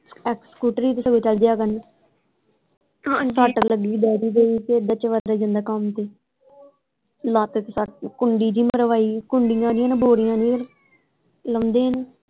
ਸਕੂਟਰੀ ਤੇ ਸਗੋਂ ਚਲ ਜਾਇਆ ਕਰਨ ਸੱਤ ਵੀ ਲੱਗੀ ਡੈਡੀ ਦੇ ਲੱਤ ਚ ਕੁੰਡੀ ਜਿਹੀ ਮਰਵਾਈ ਲਾਉਂਦੇ ਈ ਨਹੀਂ।